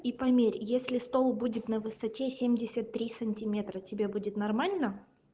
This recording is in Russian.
и померь если стол будет на высоте семьдесят три сантиметра тебе будет нормально